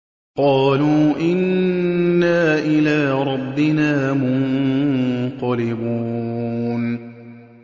قَالُوا إِنَّا إِلَىٰ رَبِّنَا مُنقَلِبُونَ